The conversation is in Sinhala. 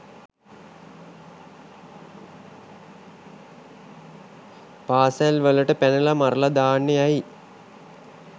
පාසැල් වලට පැනල මරලා දාන්නේ ඇයි?